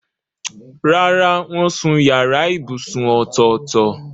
Rárá, wọ́n sun yàrá ibùsùn ọ̀tọ̀ọ̀tọ̀.